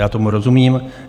Já tomu rozumím.